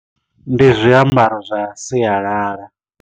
Ndi zwiambaro zwa sialala.